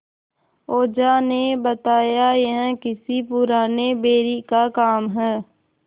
ओझा ने बताया यह किसी पुराने बैरी का काम है